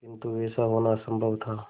किंतु वैसा होना असंभव था